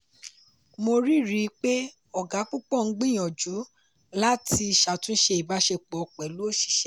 mo rí rí i pé ọ̀ga púpọ̀ ń gbìyànjú láti ṣàtúnṣe ìbáṣepọ̀ pẹ̀lú oṣìṣẹ́.